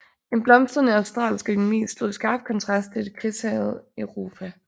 En blomstrende australsk økonomi stod i skarp kontrast til det krigshærgede Europa